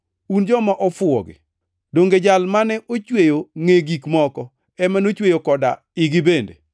Un joma ofuwo gi! Donge Jal mane ochweyo ngʼe gik moko, ema nochweyo koda igi bende?